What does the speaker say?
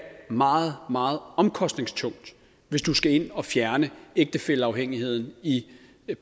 meget meget omkostningstungt hvis du skal ind og fjerne ægtefælleafhængigheden i